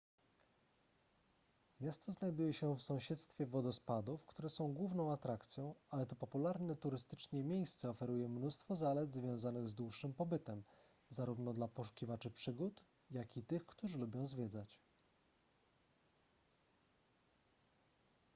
miasto znajduje się w sąsiedztwie wodospadów które są główną atrakcją ale to popularne turystycznie miejsce oferuje mnóstwo zalet związanych z dłuższym pobytem zarówno dla poszukiwaczy przygód jak i tych którzy lubią zwiedzać